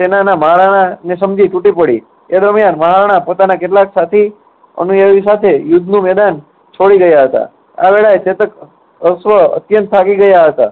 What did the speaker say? સેનાના મહારાણાને સમજી તૂટી પડી. તે દરમ્યાન મહારાણા પ્રતાપના કેટલાક સાથી સાથે યુદ્ધનું મેદાન છોડી રહ્યા હતા. આ વેળાએ ચેતક અશ્વ અત્યંત થાકી ગયા હતા.